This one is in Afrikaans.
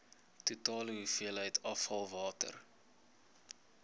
totale hoeveelheid afvalwater